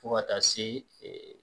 Fo ka taa se